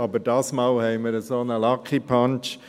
Aber diesmal haben wir einen solchen «lucky punch».